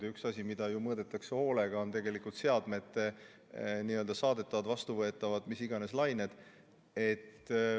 Ja üks asi, mida ju mõõdetakse hoolega, on seadmete saadetavad ja vastuvõetavad lained.